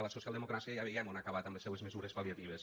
la socialdemocràcia ja veiem on ha acabat amb les seues mesures pal·liatives